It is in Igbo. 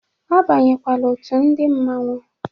Abanyekwala òtù ndị Mmanwu.